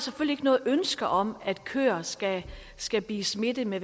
noget ønske om at køer skal skal blive smittet med